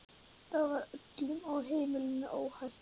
Þá var öllum á heimilinu óhætt.